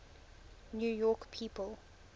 new york people